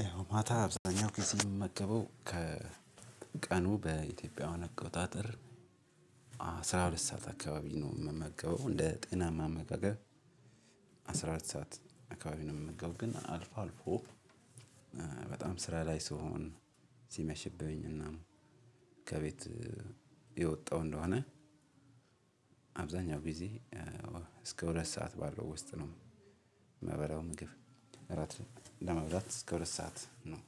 ይኸው ማታ አብዛኛው ጊዜ የምመገበው ከቀኑ በኢትዮጵያውያን አቆጣጠር አስራ ሁለት ሰዓት አካባቢ ነው የምመገበው እንደ ጤናማ አመጋገብ አስራ ሁለት ሰዓት አካባቢ ነው የምመገበው ግን አልፎ አልፎ በጣም ስራ ላይ ስሆን ሲመሽብኝ እና ከቤት የወጣሁ እንደሆነ አብዛኛው ጊዜ እስከ ሁለት ሰዓት ባለው ውስጥ ነው እምበላው ምግብ እራት ለመብላት እስከ ሁለት ሰዓት ነው።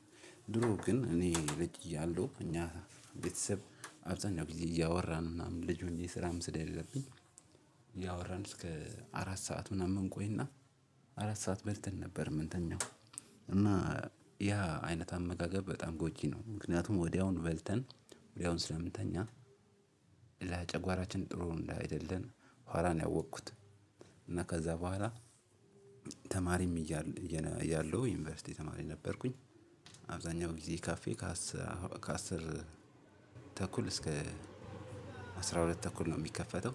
ድሮ ግን እኔ ልጅ እያለሁ እኛ ቤተሰብ አብዛኛው ጊዜ እያወራን ምናምን ልጅ ሆኜ ስራም ስለሌለብኝ እያወራን እስከ አራት ሰዓት ምናምን እንቆይና አራት ሰዓት በልተን ነበር እምንኛው እና ያ አይነት አመጋገብ በጣም ጎጂ ነው ምክንያቱም ወዲያውኑ በልተን ወዲያውኑ ስለምንተኛ ለጨጓራችን ጥሩ አንዳይደለ በኋላ ያወቅኩት እና ከዛ በኋላ ተማሪም እያለሁ ዩኒቨርሲቲ ተማሪ ነበርኩኝ አብዛኛው ጊዜ ካፌ ከአስር ተኩል እስከ አስራ ሁለት ተኩል ነው የሚከፈተው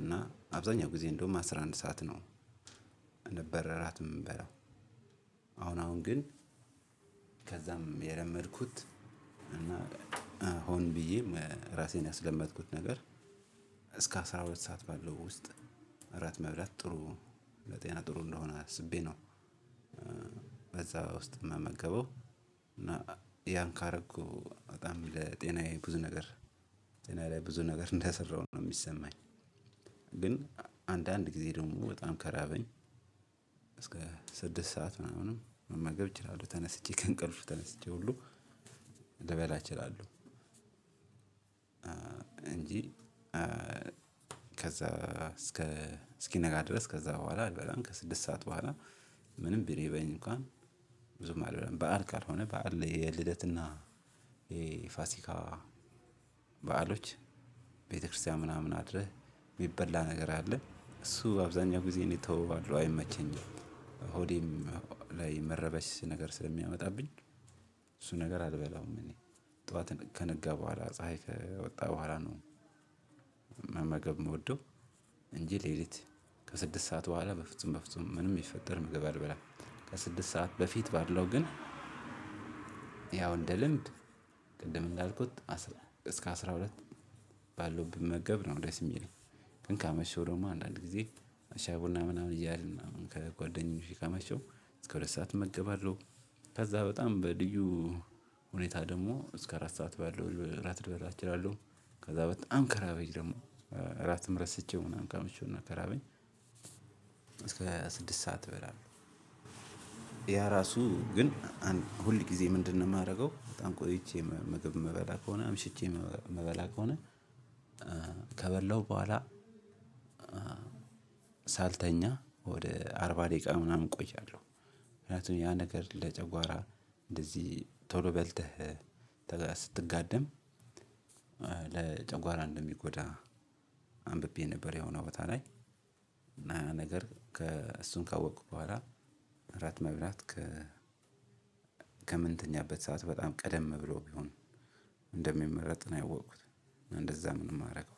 እና አብዛኛው ጊዜ እንደውም አስራ አንድ ሰዓት ነው ነበረ እራት የምንበላው አሁን አሁን ግን ከዛም የለመድኩት እና ሆን ብዬም እራሴን ያስለመድኩት ነገር እስከ አስራ ሁለት ሰዓት ባለው ውስጥ እራት መብላት ጥሩ ነው። ለጤና ጥሩ እንደሆነ አስቤ ነው በዛ ውስጥ የምመገበው እና ያን ካደረኩኝ በጣም ለጤናዬ ብዙ ነገር ጤናዬ ላይ ብዙ ነገር እንደሰራሁ ነው የሚሰማኝ ግን አንዳንድ ጊዜ ደግሞ በጣም ከራበኝ እስከ ስድስት ሰዓት ምናምን መመገብ እችላለሁ። ተነስቼ ከእንቅልፍ ተነስቼ ሁሉ ልበላ እችላለሁ። እንጂ ከዛ እስኪነጋ ድረስ ከዛ በኋላ አልበላም ከስድስት ሰዓት በኋላ ምንም ቢርበኝ እንኳን ብዙም አልበላም። በዓል ካልሆነ በዓል የልደትና የፋሲካ በዓሎች ቤተክርስቲያን ምናምን አድረህ የሚበላ ነገር አለ። እሱ በአብዛኛው ጊዜ እኔ እተወዋለሁ አይመቸኝም። ሆዴም ላይ መረበሽ ነገር ስለሚያመጣብኝ እሱ ነገር አልበላውም እኔ ጠዋት ከነጋ በኋላ ፀሀይ ከወጣ በኋላ ነው መመገብ የምወደው እንጂ ለሊት ከስድስት ሰዓት በኋላ በፍጹም በፍጹም ምንም ቢፈጠር ምግብ አልበላም። ከስድስት ሰዓት በፊት ባለው ግን ያው እንደ ልምድ ቅድም እንዳልኩት እስከ አስራ ሁለት ባለው ብመገብ ነው ደስ የሚለኝ። ግን ካመሸው ደግሞ አንዳንድ ጊዜ ሻይ ቡና ምናምን እያልን ከጓደኞቼ ካመሸው እስከ ሁለት ሰዓት እመገባለሁ ከዛ በጣም በልዩ ሁኔታ ደግሞ እስከ አራት ሰዓት ባለው እራት ልብላ እችላለሁ። ከዛ በጣም ከራበኝ ደግሞ እራትም ረስቼው ምናምን ካመሸው ከራበኝ እስከ ስድስት ሰዓት እበላለሁ። ያ እራሱ ግን ሁል ጊዜ ምንድነው የማደርገው በጣም ቆይቼ ምግብ የምበላ ከሆነ አምሽቼ የምበላ ከሆነ ከበላሁ በኋላ ሳልተኛ ወደ አርባ ደቂቃ ምናምን እቆያለሁ። ምክንያቱም ያ ነገር ለጨጓራ እንደዚህ ቶሎ በልተህ ስትጋደም ለጨጓራ እንደሚጎዳ አንብቤ ነበር የሆነ ቦታ ላይ እና የ ነገር እሱን ካወቅኩ በኋላ እራት መብራት ከምንተኛበት ሰዓት በጣም ቀደም ብሎ ቢሆን እንደሚመረጥ ነው ያወቁት። እንደዛም ነው የማደርገው።